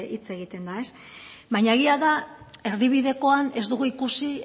hitz egiten da baina egia da erdibidekoan ez dugu ikusi